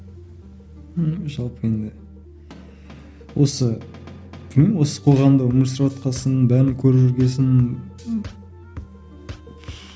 ііі жалпы енді осы білмеймін осы қоғамда өмір сүріватқан соң бәрін көріп жүрген соң